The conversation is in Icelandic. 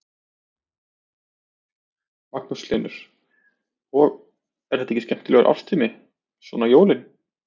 Magnús Hlynur: Og, er þetta ekki skemmtilegur árstími, svona jólin?